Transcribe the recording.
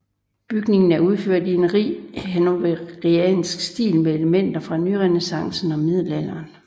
Bygningen er udført i en rig hannoveriansk stil med elementer fra nyrenæssance og middelalder